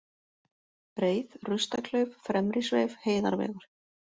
Breið, Rustaklauf, Fremri-Sveif, Heiðarvegur